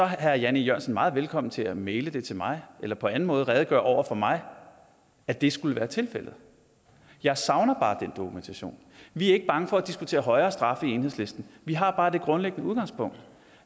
herre jan e jørgensen meget velkommen til at maile det til mig eller på anden måde redegøre for over for mig at det skulle være tilfældet jeg savner bare den dokumentation vi er ikke bange for at diskutere højere straffe i enhedslisten vi har bare det grundlæggende udgangspunkt